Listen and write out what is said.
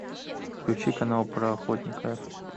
включи канал про охотника